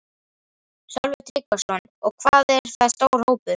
Sölvi Tryggvason: Og hvað er það stór hópur?